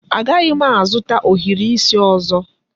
Agaghị m azụta ohiri isi ọzọ.